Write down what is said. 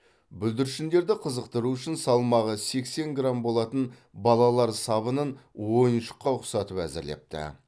бүлдіршіндерді қызықтыру үшін салмағы сексен грамм болатын балалар сабынын ойыншыққа ұқсатып әзірлепті